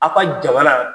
Aw ka jamana